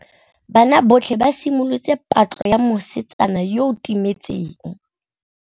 Banna botlhê ba simolotse patlô ya mosetsana yo o timetseng.